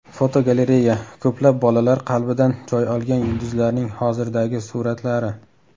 Fotogalereya: Ko‘plab bolalar qalbidan joy olgan yulduzlarning hozirdagi suratlari.